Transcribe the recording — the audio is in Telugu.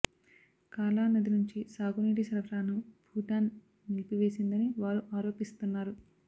కాలా నది నుంచి సాగు నీటి సరఫరాను భూటాన్ నిలిపివేసిందని వారు ఆరోపిస్తున్నారు